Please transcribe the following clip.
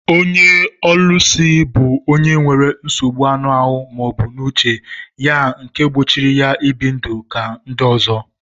Ónyé ólúsi bụ ọnye nwere nsogbụ aṅụ ahụ maọbu n'uche ya nke gbochiri ya ibi ndụ ka ndị ọzọ.